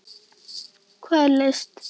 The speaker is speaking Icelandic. Hvað er list?